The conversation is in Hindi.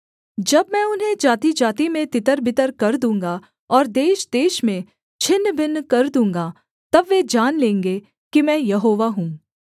जब मैं उन्हें जातिजाति में तितरबितर कर दूँगा और देशदेश में छिन्न भिन्न कर दूँगा तब वे जान लेंगे कि मैं यहोवा हूँ